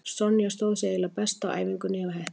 Sonja stóð sig eiginlega best á æfingunni hjá Hetti.